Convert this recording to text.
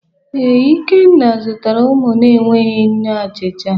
Ee, Ikenna zụtara ụmụ na-enweghị nne achịcha